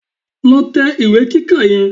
Lọ tẹ ìwé kíkà yẹn